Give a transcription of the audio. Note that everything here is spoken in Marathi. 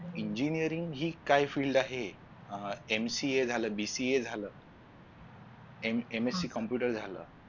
Engineering हि काय Field आहे. अं MCA झालं BCA झालं MSC computer झालं